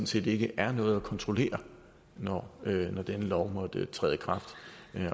set ikke er noget at kontrollere når denne lov måtte træde i kraft